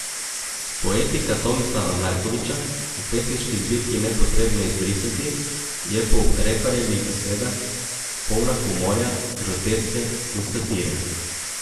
Poetika Tomislava Markovića v pesniški zbirki Nepotrebne izbrisati je po Reparjevih besedah polna humorja, groteske in satire.